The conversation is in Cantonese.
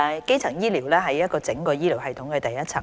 基層醫療是整個醫療系統的第一層。